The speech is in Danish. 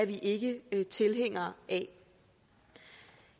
vi ikke ikke tilhængere af